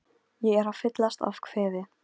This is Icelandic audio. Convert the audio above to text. Hvers vegna ertu að segja okkur þetta?